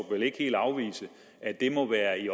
vel ikke helt afvise at det må være i